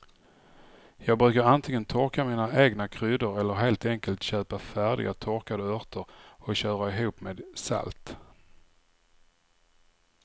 Jag brukar antingen torka mina egna kryddor eller helt enkelt köpa färdiga torkade örter och köra ihop med salt.